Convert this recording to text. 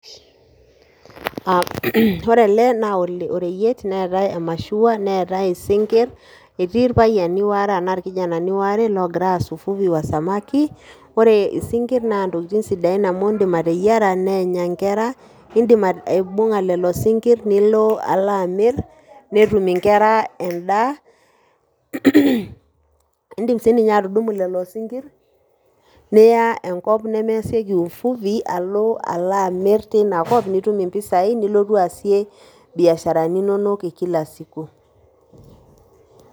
Ore ele na oreyiet neetai omashua, neetai isinkir. Etii irpayiani waare ena ikijanani ware logira aas ufugi wa samaki. Ore isinkir naa ntokitin sidain amu idim ateyiara nenya nkera. Idim aibung'a lelo sinkir nilo alo amir netum inkera edaa. Idim si ninye atudumu lelo sinkir niya enkop nemayasieki uvuvi alo amir tina kop nitum impisai nilotu aasie ibiasharani inonok ee kila siku.